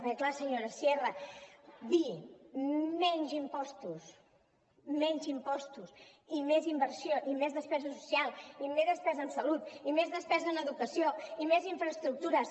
perquè clar senyora sierra dir menys impostos menys impostos i més inversió i més despesa social i més despesa en salut i més despesa en educació i més infraestructures